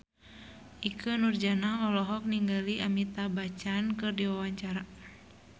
Ikke Nurjanah olohok ningali Amitabh Bachchan keur diwawancara